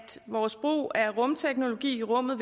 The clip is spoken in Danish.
vores brug af rumteknologi i rummet